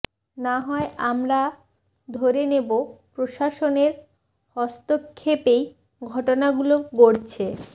না হয় আমরা ধরে নিব প্রশাসনের হস্তক্ষেপেই ঘটনাগুলো গড়ছে